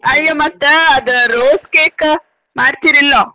ಅಯ್ಯ ಮತ್ತ ಅದ rose cake ಮಾಡ್ತಿರ ಇಲ್ಲೊ?